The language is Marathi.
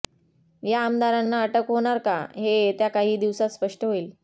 या आमदारांना अटक होणार का हे येत्या काही दिवसात स्पष्ट होईल